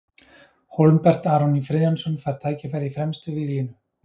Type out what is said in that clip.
Hólmbert Aron Friðjónsson fær tækifæri í fremstu víglínu.